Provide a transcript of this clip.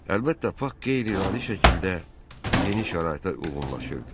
Əlbəttə, Pak qeyri-iradi şəkildə yeni şəraitə uyğunlaşırdı.